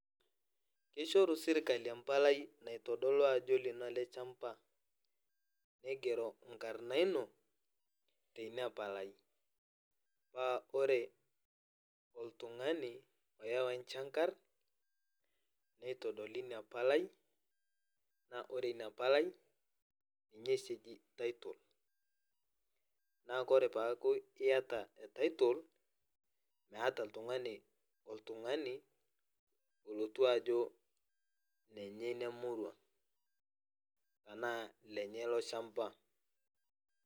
Kishoru serkali empalai naitodolu ajo olino ele chamba nigero enkarna ino te ina palai. Aa ore oltung'ani oyau enchang'ar neitodoli ina palai naa ore ina palai ye oshi eji title naa ore paaku iyata title naata oltung'ni oltung'ani olotu ajo nenye ina murua enaa lenye ilo shamba.